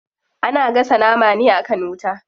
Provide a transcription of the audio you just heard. Ana gasa nama ne akan wuta.